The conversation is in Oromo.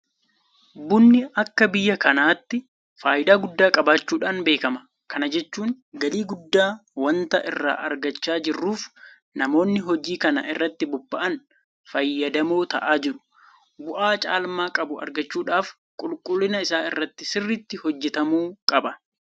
Bunni akka biyya kanaatti faayidaa guddaa qabaachuudhaan beekama. Kana jechuun galii guddaa waanta irraa argachaa jirruuf namoonni hojii kana irratti bobba'an fayyadamoo ta'aa jiru. Bu'aa caalmaa qabu argachuudhaaf qulqullina isaa irratti sirriitti hojjetamuu qaba.